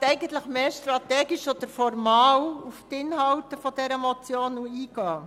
Ich möchte eigentlich mehr strategisch oder formal auf die Inhalte der Motion eingehen.